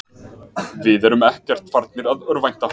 Við erum ekkert farnir að örvænta.